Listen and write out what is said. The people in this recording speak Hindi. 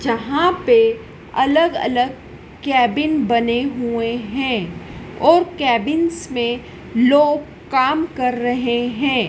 जहां पे अलग अलग केबिन बने हुए हैं और केबिंस में लोग काम कर रहे हैं।